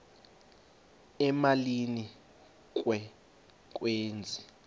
emalini ke kwezi